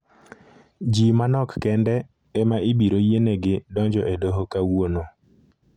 Ji manok kende ema ibiro yienegi donjo e doho kawuono.